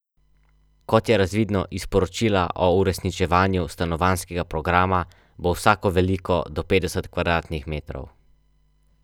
Hrvaška je s prvega mesta na lestvici skupine I po sinočnjem remiju padla na drugo mesto, vrh pa je zavzela Islandija.